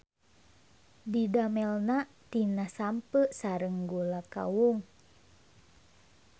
Didamelna tina sampeu sareng gula kawung.